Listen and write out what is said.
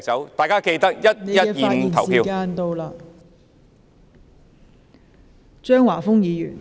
請大家記得11月25日去投票......